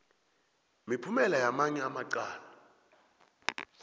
miphumela yamanye amacala